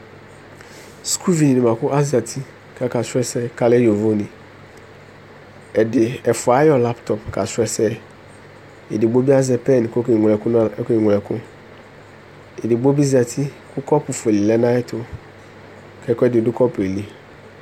suku vi ni boa ko azati ko aka srɔ ɛsɛ ko alɛ yovo ni ɛdi ɛfua ayɔ laptɔp ka srɔ ɛsɛ edigbo bi azɛ pɛn ko oke ŋlo ɛko edigbo bi zati ko kɔpu fue lɛ no ayɛto ko ɛkoedi do kɔpuɛ li